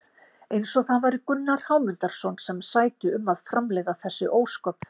Eins og það væri Gunnar Hámundarson sem sæti um að framleiða þessi ósköp!